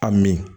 A min